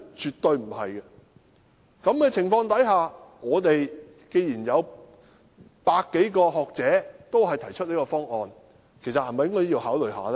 在這種情況下，既然有百多名學者均提出這個方案，其實是否應該考慮一下呢？